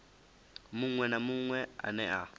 munwe na munwe ane a